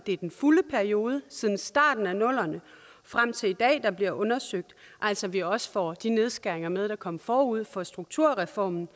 er den fulde periode siden starten af nullerne og frem til i dag der bliver undersøgt altså at vi også får de nedskæringer med der kom forud for strukturreformen